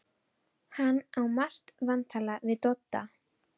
Hann á margt vantalað við Dodda.